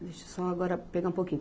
Deixa eu só agora pegar um pouquinho.